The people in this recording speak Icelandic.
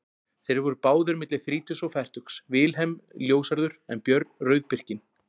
Þeir voru báðir milli þrítugs og fertugs, Vilhelm ljóshærður en Björn rauðbirkinn.